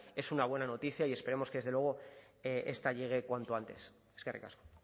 es una buena noticia y esperemos que desde luego esta llegue cuanto antes eskerrik asko